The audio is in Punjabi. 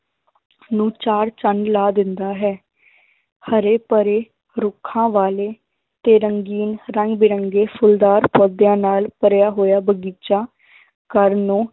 ਨੂੰ ਚਾਰ ਚੰਦ ਲਾ ਦਿੰਦਾ ਹੈ ਹਰੇ ਭਰੇ ਰੁੱਖਾਂ ਵਾਲੇ ਤੇ ਰੰਗੀਨ ਰੰਗ ਬਿਰੰਗੇ ਫੁੱਲਦਾਰ ਪੌਦਿਆਂ ਨਾਲ ਭਰਿਆ ਹੋਇਆ ਬਗ਼ੀਚਾ ਘਰ ਨੂੰ